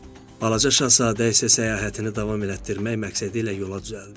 Balaca şahzadə isə səyahətini davam elətdirmək məqsədilə yola düzəldi.